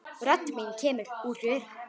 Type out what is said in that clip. Rödd mín kemur út úr röri.